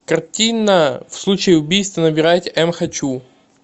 картина в случае убийства набирайте м хочу